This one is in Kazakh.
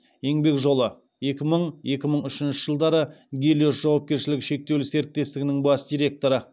еңбек жолы екі мың екі мың үшінші жылдары гелиос жауапкершілігі шектеулі серіктестігінің бас директоры